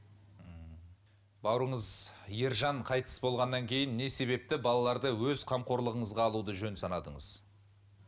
ммм бауырыңыз ержан қайтыс болғаннан кейін не себепті балаларды өз қамқорлығыңызға алуды жөн санадыңыз